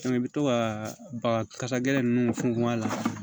i bɛ to ka baga kasa gɛlɛn ninnu funfun a la